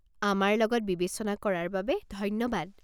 আমাৰ লগত বিবেচনা কৰাৰ বাবে ধন্যবাদ।